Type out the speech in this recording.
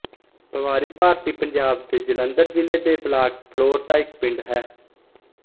ਪਵਾਰੀ ਭਾਰਤੀ ਪੰਜਾਬ ਦੇ ਜਲੰਧਰ ਜ਼ਿਲ੍ਹੇ ਦੇ ਬਲਾਕ ਫਿਲੌਰ ਦਾ ਇੱਕ ਪਿੰਡ ਹੈ